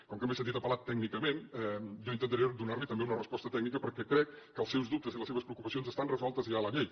com que m’he sentit apel·lat tècnicament jo intentaré donar li també una resposta tècnica perquè crec que els seus dubtes i les seves preocupacions estan resolts ja a la llei